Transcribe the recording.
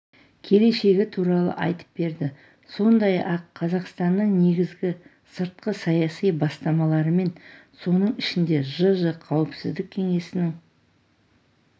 келешегі туралы айтып берді сондай-ақ қазақстанның негізгі сыртқы саяси бастамаларымен соның ішінде жж қауіпсіздік кеңесінің